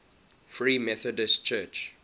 free methodist church